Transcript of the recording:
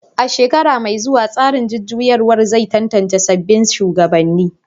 A shekara mai zuwa, tsarin jujjuyawar zai tantance sabbin shugabannin